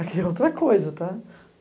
Aqui é outra coisa, tá?